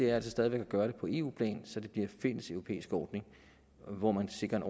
er altså stadig væk at gøre det på eu plan så det bliver en fælleseuropæisk ordning hvor man sikrer en